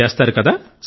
చేస్తారు కదా